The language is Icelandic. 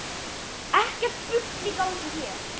Ekkert bull í gangi hér!